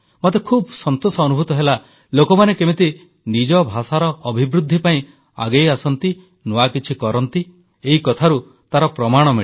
ମୋତେ ଖୁବ୍ ସନ୍ତୋଷ ଅନୁଭୂତ ହେଲା ଲୋକମାନେ କେମିତି ନିଜ ଭାଷାର ଅଭିବୃଦ୍ଧି ପାଇଁ ଆଗେଇ ଆସନ୍ତି ନୂଆ କିଛି କରନ୍ତି ଏଇ କଥାରୁ ତାର ପ୍ରମାଣ ମିଳେ